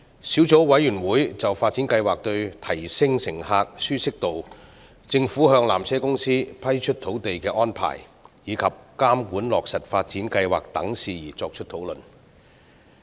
小組委員會曾就發展計劃對提升乘客的舒適度、政府向纜車公司批出土地的安排，以及監管落實發展計劃等事宜作出討論。